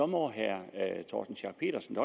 må herre torsten schack pedersen